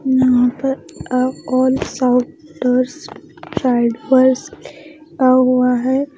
यहाँ पर अब लिखा हुआ है।